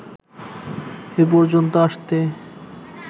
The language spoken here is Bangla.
এ পর্যন্ত আসতে